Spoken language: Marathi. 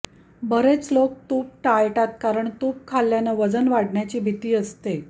बरेच लोक तूप टाळतात कारण तूप खाल्ल्यानं वजन वाढण्याची भीती असते